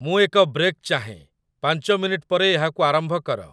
ମୁଁ ଏକ ବ୍ରେକ୍ ଚାହେଁ, ପାଞ୍ଚ ମିନିଟ୍ ପରେ ଏହାକୁ ଆରମ୍ଭ କର